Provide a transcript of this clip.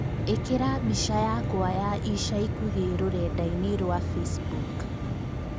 Īkĩira mbĩca yakwa ya ĩca ĩkũhĩ rũredainĩ rwa Facebook